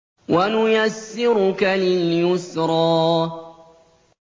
وَنُيَسِّرُكَ لِلْيُسْرَىٰ